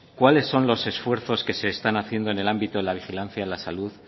cuáles son los esfuerzos que se están haciendo en el ámbito de la vigilancia en la salud